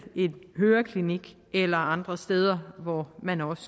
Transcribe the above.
i en høreklinik eller andre steder hvor man også